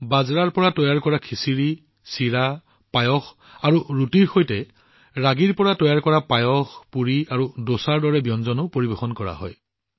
বাজৰাখিচিৰি পোহা ক্ষীৰ আৰু ৰুটিৰ দৰে ব্যঞ্জন লগতে ৰাগীআধাৰিত পায়াচাম পুৰী আৰু দোছাও ইয়াত পৰিৱেশন কৰা হৈছে